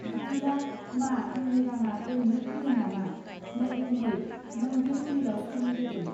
बिब्दिला मा आंनि राङा ओरैनो फैदोंनामा नै गुमै नों बे दलीलाव सही होदों.